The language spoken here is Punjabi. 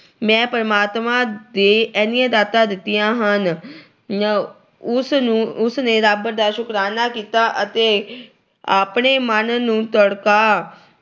ਮੈਨੂੰ ਪਰਮਾਤਮਾ ਦੇ ਇੰਨੀਆਂ ਦਾਤਾਂ ਦਿੱਤੀਆਂ ਹਨ। ਉਸ ਨੂੰ ਅਹ ਉਸ ਨੇ ਰੱਬ ਦਾ ਸ਼ੁਕਰਾਨਾ ਕੀਤਾ ਅਤੇ ਆਪਣੇ ਮਨ ਨੂੰ ਤੜਕਾ ਅਹ